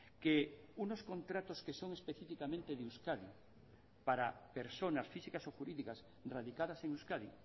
que unos contratos que son específicamente de euskadi para personas físicas o jurídicas radicadas en euskadi